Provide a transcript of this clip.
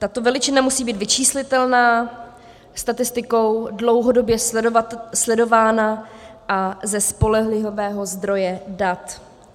Tato veličina musí být vyčíslitelná, statistikou dlouhodobě sledovaná a ze spolehlivého zdroje dat.